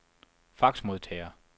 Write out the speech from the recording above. faxmodtager